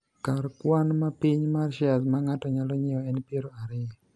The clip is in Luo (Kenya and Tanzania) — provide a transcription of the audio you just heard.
kar kwan mapiny mar shares ma ng'ato nyalo nyiewo en piero ariyo